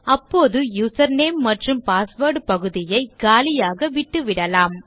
அப்பொழுது யூசர்நேம் மற்றும் பாஸ்வேர்ட் பகுதியை காலியாக விட்டுவிடலாம்